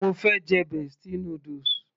mo fẹ́ jẹ bestie noodles